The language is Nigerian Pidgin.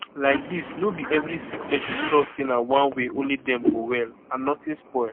laidis no be every sick pesin trust say na one way only dem go well and notin spoil